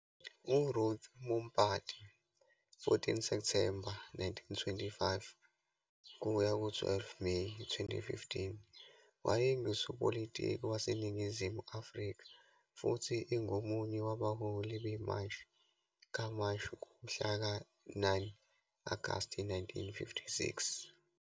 URuth Mompati, 14 Septhemba 1925 kuya ku-12 Meyi 2015, wayengusopolitiki was Ningizimu Afrika futhi engomunye wabaholi beMashi kaMashi ngomhlaka 9 Agasti 1956.